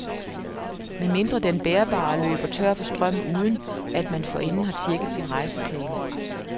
Med mindre den bærbare løber tør for strøm uden, at man forinden har tjekket sin rejseplan.